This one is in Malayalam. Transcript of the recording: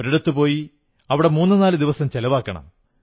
ഒരിടത്തുപോയി അവിടെ മൂന്നു നാലു ദിവസം ചിലവാക്കണം